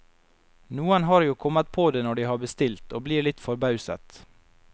Noen har jo kommet på det når de har bestilt, og blir litt forbauset.